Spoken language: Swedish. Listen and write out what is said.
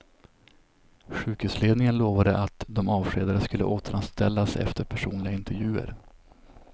Sjukhusledningen lovade att de avskedade skulle återanställas efter personliga intervjuer.